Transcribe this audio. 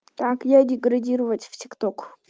так я деградировать в тик ток